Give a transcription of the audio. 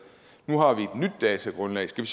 nu har vi et nyt datagrundlag skal